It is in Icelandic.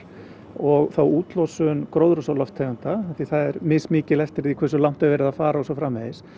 og þá útlosun gróðurhúsalofttegunda því það er mismikið eftir því hversu langt er verið að fara og svo framvegis